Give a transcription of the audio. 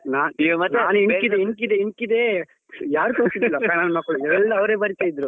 ನಾನ್ ಇಣಕಿದ್ದೆ ಇಣಕಿದ್ದೆ ಇಣಕಿದ್ದೆ ಯಾರ್ ತೋರ್ಸುದಿಲ್ಲ ಮಕ್ಳು ಎಲ್ಲ ಅವ್ರೆ ಬರಿತ್ತಿದ್ರು.